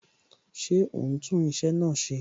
Ṣé o ń tún iṣẹ́ náà ṣe?